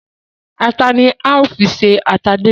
Ata ni a ó fi ṣe ata díndín